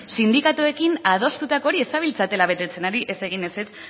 sindikatuekin adostutako hori ez zabiltzatela betetzen ari ez egin ezetz